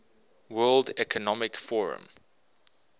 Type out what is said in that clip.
world economic forum